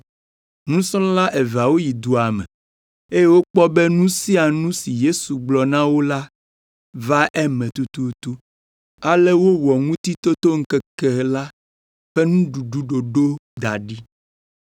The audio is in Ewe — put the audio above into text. Nusrɔ̃la eveawo yi dua me eye wokpɔ be nu sia nu si Yesu gblɔ na wo la va eme tututu, ale wowɔ Ŋutitotoŋkeke la ƒe nuɖuɖu ɖoɖo da ɖi.